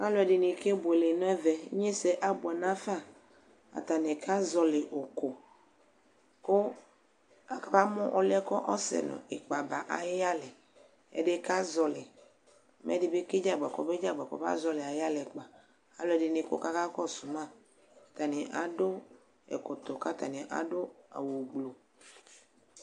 ɑluedini kɛbuele neve inyese ɑbue nɑfa ɑtani kɑzɔli uku ku ɑkamu ɔlue kɑsenikpɑba ɑyiyale ɛdikɑzɔli ɛdibi kɛdzeagba ɑluadini kɔ kɑkɔsumɑ ɑtani ɑdu ɛkɔtɔ kạtɑniæ ɑtani ɑfu ɑwu blu